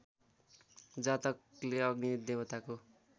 जातकले अग्नि देवताको